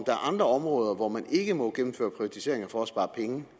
er andre områder hvor man ikke må gennemføre privatiseringer for at spare penge